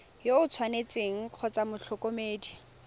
yo o tshwanetseng kgotsa motlhokomedi